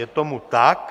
Je tomu tak.